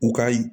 U ka